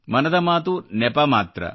ಮನದ ಮಾತು ನೆಪ ಮಾತ್ರ